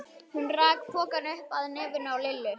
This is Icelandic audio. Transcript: Hún rak pokann upp að nefinu á Lillu.